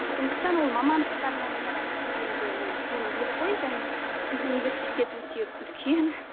сондықтан ол мамандықтарына байланысты шетел енді ол үлкен ел ғой және мхм университет өте үлкен